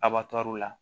Abatu la